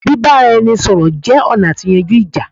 bíbáranisọ̀rọ̀ jẹ́ ọ̀nà àti yanjú ìjà